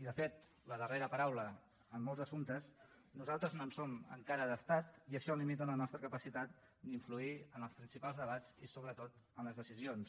i de fet la darrera paraula en molts assumptes nosaltres no en som encara d’estat i això limita la nostra capacitat d’influir en els principals debats i sobretot en les decisions